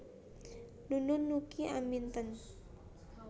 Nunun Nuki Aminten